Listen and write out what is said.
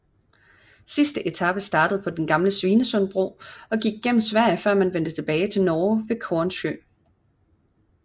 Sidste etape startede på den gamle Svinesundbro og gik gennem Sverige før man vendte tilbage til Norge ved Kornsjø